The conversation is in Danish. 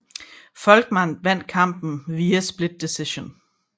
Volkmann vandt kampen via split decision